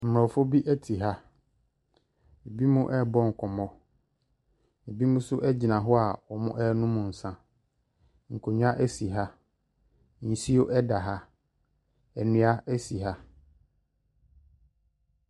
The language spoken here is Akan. Aborɔfo bi te ha, binom ɛrebɔ nkɔmmɔ, binom nso gyina hɔ a wɔrenom nsa, nkonnwa si ha, nsuo da ha, nnua si ha.